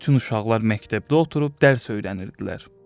Bütün uşaqlar məktəbdə oturub dərs öyrənirdilər.